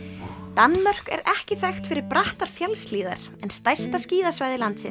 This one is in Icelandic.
Danmörk er ekki þekkt fyrir brattar fjallshlíðar en stærsta skíðasvæði landsins